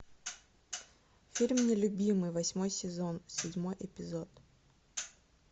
фильм нелюбимый восьмой сезон седьмой эпизод